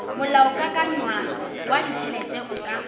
molaokakanywa wa ditšhelete o ka